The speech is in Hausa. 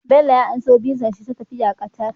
Bello ya amso VISA shi ta tafiya Qatar